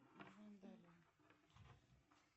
нажимаем далее